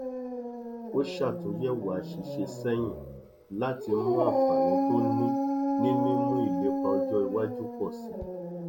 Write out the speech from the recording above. ó ṣàtúnyẹwò àṣìṣe sẹyìn láti mú àǹfààní tó ní ní mímú ìlépa ọjọ iwájú pọ sí i